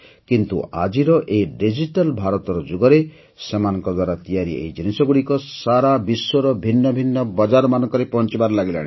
କିନ୍ତୁ ଆଜିର ଏଇ ଊସଶସଗ୍ଧବକ୍ଷ ଭାରତର ଯୁଗରେ ସେମାନଙ୍କ ଦ୍ୱାରା ତିଆରି ଏହି ଜିନିଷଗୁଡ଼ିକ ସାରା ବିଶ୍ୱର ଭିନ୍ନ ଭିନ୍ନ ବଜାରମାନଙ୍କରେ ପହଞ୍ôଚବାରେ ଲାଗିଲାଣି